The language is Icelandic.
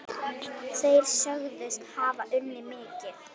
Þeir sögðust hafa unnið mikið.